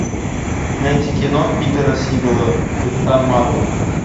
найти кино питера сигала капитан марвел